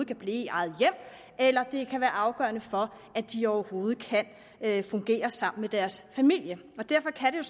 kan blive i eget hjem eller det kan være afgørende for at de overhovedet kan fungere sammen med deres familie derfor kan det